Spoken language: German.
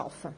Geschäft